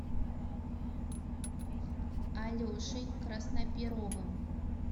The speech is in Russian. алешей красноперовым